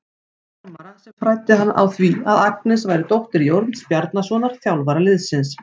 Frammara sem fræddi hann á því að Agnes væri dóttir Jóns Bjarnasonar, þjálfara liðsins.